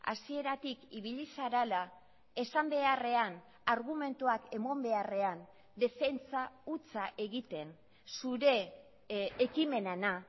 hasieratik ibili zarela esan beharrean argumentuak eman beharrean defentsa hutsa egiten zure ekimenena